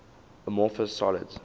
amorphous solids